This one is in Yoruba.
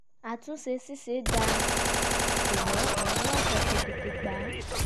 àtúnṣe ṣiṣẹ́ dáadáa ṣùgbọ́n àwọn aláṣẹ kọ́ tètè gba á